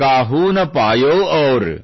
ಕಾಹುನಾ ಪಾಯೌ ಔರ್